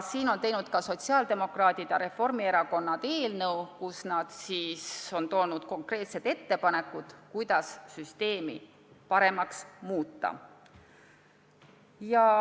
Seepärast on sotsiaaldemokraadid ja Reformierakond koostanud eelnõu, kus nad on teinud konkreetsed ettepanekud, kuidas süsteemi paremaks muuta.